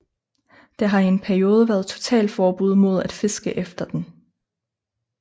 Der har i en periode været totalforbud mod at fiske efter den